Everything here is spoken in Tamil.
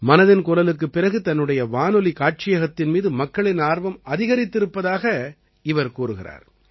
மனதின் குரலுக்குப் பிறகு தன்னுடைய வானொலி காட்சியகத்தின் மீது மக்களின் ஆர்வம் அதிகரித்திருப்பதாக இவர் கூறுகிறார்